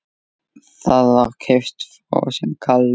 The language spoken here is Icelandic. Það var keyptur frosinn kalli.